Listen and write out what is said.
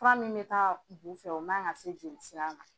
Fura min be taa bu fɛ, o man ka se jeli sira la.